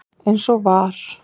eins og var.